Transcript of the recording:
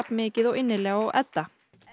mikið og innilega og Edda